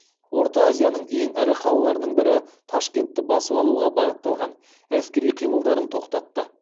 орта азияның ең ірі қалаларының бірі ташкентті басып алуға бағытталған әскери қимылдарын тоқтатты